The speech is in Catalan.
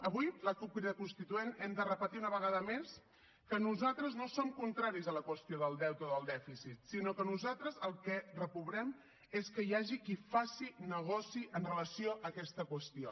avui la cup crida constituent hem de repetir una vegada més que nosaltres no som contraris a la qüestió del deute o del dèficit sinó que nosaltres el que reprovem és que hi hagi qui faci negoci amb relació a aquesta qüestió